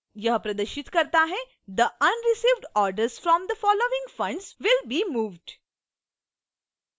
यह प्रदर्शित करता हैthe unreceived orders from the following funds will be moved